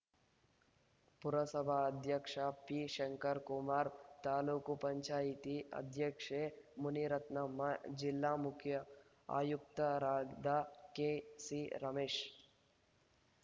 ಪುರಸಭಾ ಅಧ್ಯಕ್ಷ ಪಿಶಂಕರ್‌ ಕುಮಾರ್‌ ತಾಲೂಕು ಪಂಚಾಯಿತಿ ಅಧ್ಯಕ್ಷೆ ಮುನಿರತ್ನಮ್ಮ ಜಿಲ್ಲಾ ಮುಖ್ಯ ಆಯುಕ್ತರಾದ ಕೆಸಿರಮೇಶ್‌